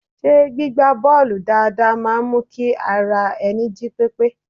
Ṣé gbígba bọ́ọ̀lù dáadáa máa ń mú kí ara ẹni jí pípé?